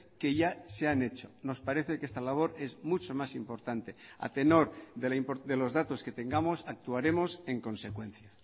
que ya se han hecho nos parece que esta labor es mucho más importante a tenor de los datos que tengamos actuaremos en consecuencia